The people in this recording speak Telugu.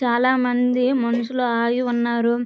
చాలా మంది మనుషులు ఆగి ఉన్నారు.